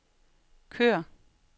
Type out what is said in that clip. kør